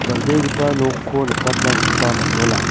dal·begipa nokko nikatna gita man·jola.